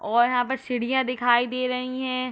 और यहाँ पर सीढियाँ दिखाई दे रही हैं।